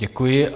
Děkuji.